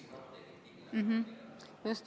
Just!